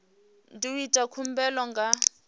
ndi u ita khumbelo nga